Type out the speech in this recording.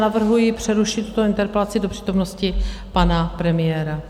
Navrhuji přerušit tuto interpelaci do přítomnosti pana premiéra.